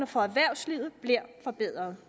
for erhvervslivet bliver forbedret